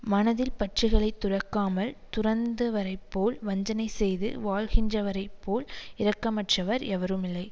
மனத்தில் பற்றுக்களைத் துறக்காமல் துறந்துவரைப் போல் வஞ்சனைச் செய்து வாழ்கின்றவரைப் போல் இரக்கமற்றவர் எவரும் இல்லை